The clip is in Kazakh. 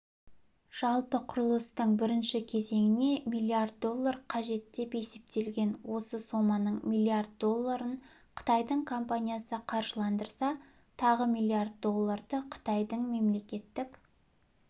жалпы құрылыстың бірінші кезеңіне миллиард доллар қажет деп есептелген осы соманың миллиард долларын қытайдың компаниясы қаржыландырса тағы миллиард долларды қытайдың мемлекеттік